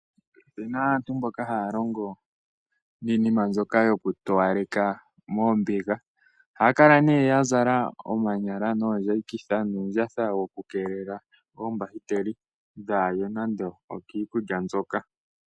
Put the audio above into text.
Opu na aantu mboka haya longo niinima mbyoka yoku towaleka moombiga. Ohaya kala ihe ya zala omanyala noombayikitha nuundjatha woku keelela oombahiteli dhaaye nando okiikulya mbyoka.